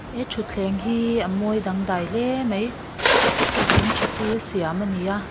he thuthleng hi a mawi dangdai hle mai hei thing tha chi a siam a ni a.